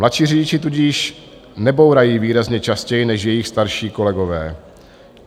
Mladší řidiči tudíž nebourají výrazně častěji než jejich starší kolegové.